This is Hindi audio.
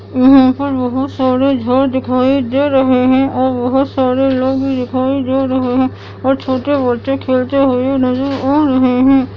यहा का लोग सारे दिखाई दे रहे है और बहुत सारे लोग भी दिखाई दे रहे है और छोटे बच्चे खेलते हुए नजर आ रहे है।